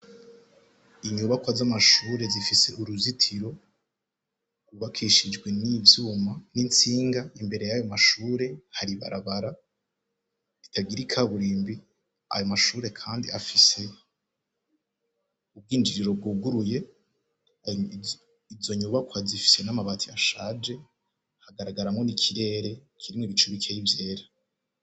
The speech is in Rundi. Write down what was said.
Inyubakwa z'amashure zifise uruzitiro zubakishijwe n'ivyuma, nk'intsinga, imbere yayo mashure har'ibarabara ry'ikaburimbi, ayo mashure kandi afise urwijiriro rwuguruye, izo nyubakwa zifise n'amabati ashaje, hagaragaramwo n'ikirere kirimwo ibicu bikryi vyera.